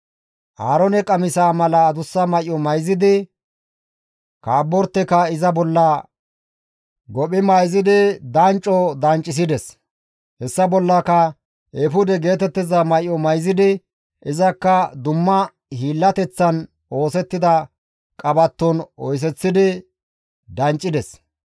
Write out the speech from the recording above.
Aaroone qamisaa mala adussa may7o mayzidi, kabborteka iza bolla gophi mayzidi dancco danccisides; hessa bollaka eefude geetettiza may7o mayzidi izakka dumma hiillateththan oosettida qabatton oyseththidi danccides.